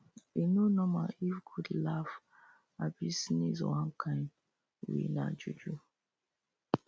e no normal if a goat laugh abi sneez one kind way nah juju